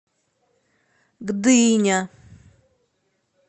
гдыня